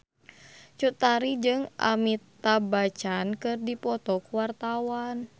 Cut Tari jeung Amitabh Bachchan keur dipoto ku wartawan